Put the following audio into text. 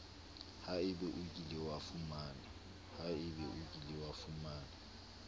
haebe o kile wa fumana